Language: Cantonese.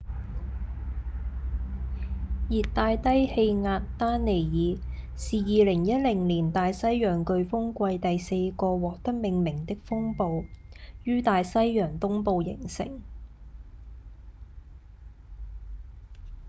熱帶低氣壓丹妮爾是2010年大西洋颶風季第四個獲得命名的風暴於大西洋東部形成